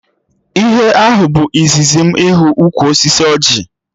Ihe ahụ bụ izizi m ịhụ ukwu osisi ọjị